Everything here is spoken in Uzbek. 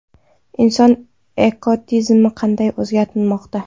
Inson ekotizimni qanday o‘zgartirmoqda?.